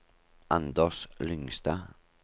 Anders Lyngstad